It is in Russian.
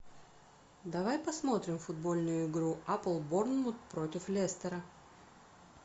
давай посмотрим футбольную игру апл борнмут против лестера